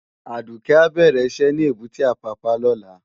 Aduke á bèrè iṣè ni ébùté Apapa lòlá